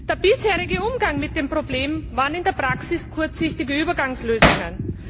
Der bisherige Umgang mit diesem Problem bestand in der Praxis in kurzsichtigen Übergangslösungen.